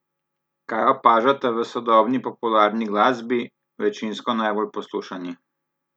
Kaj opažate v sodobni popularni glasbi, večinsko najbolj poslušani?